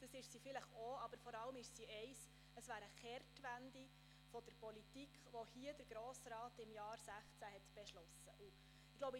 Das ist sie vielleicht auch, aber vor allem ist sie eins: Sie wäre eine Kehrtwende der Politik, die der Grosse Rat im Jahr 2016 beschlossen hat.